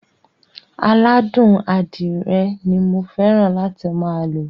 Aládùn adírẹ ni mo fẹ́ràn láti máa lo.